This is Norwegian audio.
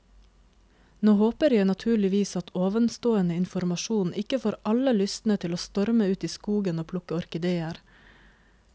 Nå håper jeg naturligvis at ovenstående informasjon ikke får alle lystne til å storme ut i skogen og plukke orkideer.